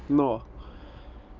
но